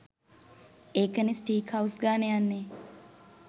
ඒක නේ steak house ගානේ යන්නේ